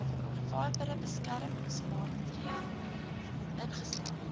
aanvaarbare beskermingsmaatreels ingestel